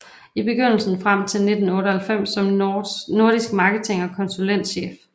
I begyndelsen frem til 1998 som nordisk marketing og konsulentchef